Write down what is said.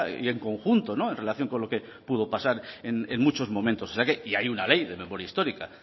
y en conjunto en relación con lo que pudo pasar en muchos momentos y hay una ley de memoria histórica